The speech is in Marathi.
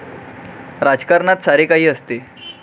राजकारणात सारे काही असते.